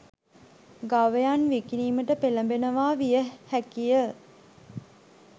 ගවයන් විකිණිමට පෙළඹෙනවා විය හැකිය.